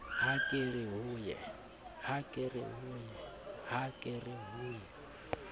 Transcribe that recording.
ha ke re ho ye